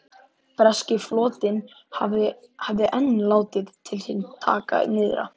Breski flotinn hafði enn látið til sín taka nyrðra.